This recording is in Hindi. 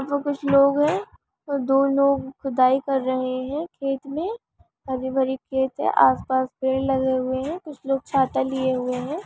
यहाँ कुछ लोग है दो लोग खुदाई कर रहे है खेत में हरी-भरी खेत है आसपास पेड़ लगे हुए है कुछ लोग छाता लिए हुए है।